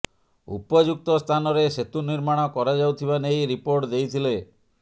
ଉପଯୁକ୍ତ ସ୍ଥାନରେ ସେତୁ ନିର୍ମାଣ କରାଯାଉଥିବା ନେଇ ରିପୋର୍ଟ ଦେଇଥିଲେ